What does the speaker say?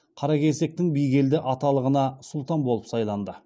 қаракесектің бигелді аталығына сұлтан болып сайланды